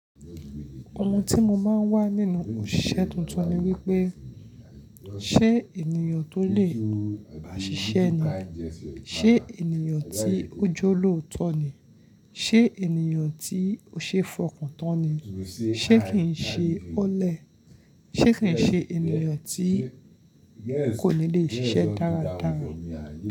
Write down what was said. Ohun tí mo máa ń wá nínú òṣìṣẹ́ tuntun ni wípé ṣé ènìyàn tó lè ṣiṣẹ́ ni, ṣé ènìyàn tí ó jọ́lóòtọ́ ni, ṣé ènìyàn tí ó ṣe é fọkàn tán ni, ṣé kì ń ṣe ọ́lẹ̀, ṣé kì ń ṣe ènìyàn tí kò ní lè ṣiṣẹ́ dáradára.